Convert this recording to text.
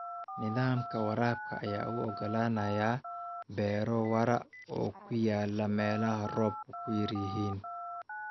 Nidaamka waraabka ayaa u oggolaanaya beero waara oo ku yaal meelaha roobabku yar yihiin.